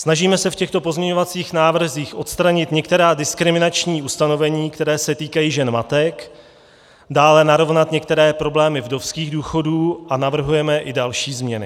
Snažíme se v těchto pozměňovacích návrzích odstranit některá diskriminační ustanovení, která se týkají žen matek, dále narovnat některé problémy vdovských důchodů a navrhujeme i další změny.